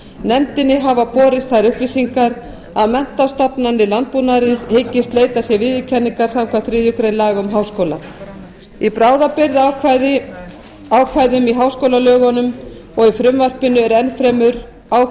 nefndinni hafa borist þær upplýsingar að menntastofnanir landbúnaðarins hyggist leita sér viðurkenningar samkvæmt þriðju grein laga um háskóla í bráðabirgðaákvæðum í háskólalögunum og í frumvarpinu er enn fremur kveðið á